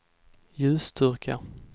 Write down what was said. ljusstyrka